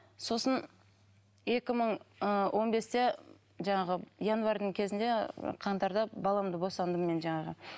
сосын екі мың ы он бесте жаңағы январьдың кезінде қаңтарда баламды босандым мен жаңағы